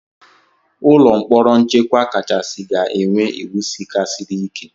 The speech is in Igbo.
Ụlọ mkpọrọ nchekwa kachasị ga-enwe iwu sika siri ike.